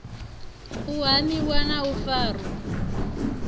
u hamiwa na u farwa